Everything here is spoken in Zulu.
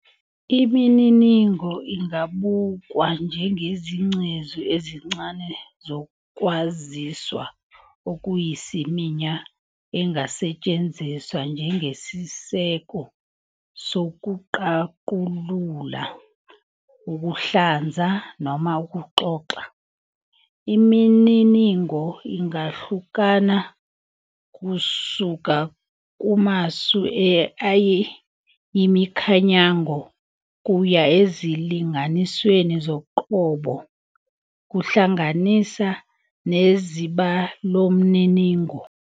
Imininingo ingabukwa njengezingcezu ezincane zokwaziswa okuyisiminya engasetshenziswa njengesiseko sokuqaqulula, ukuhluza, noma ukuxoxa. Imininingo ingahluka kusuka kumasu ayimikhanyango kuya ezilinganisweni zoqobo, kuhlanganisa nezibalomniningo.